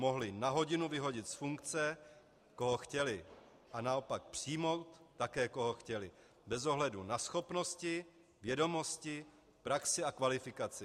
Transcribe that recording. Mohli na hodinu vyhodit z funkce, koho chtěli, a naopak přijmout také koho chtěli, bez ohledu na schopnosti, vědomosti, praxi a kvalifikaci.